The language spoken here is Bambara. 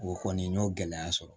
O kɔni n y'o gɛlɛya sɔrɔ